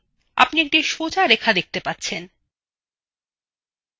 আপনি একটি সোজা রেখা দেখতে পাচ্ছেন